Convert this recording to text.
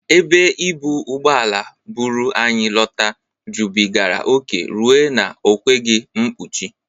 Ebe ibụ ụgbọala bụru anyị lọta jụbịgara oke rue na o kweghi mpuchi.